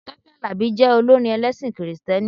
Tọ́pẹ́ Àlàbí jẹ olórin ẹlẹ́sìn kìrìtẹ́nì.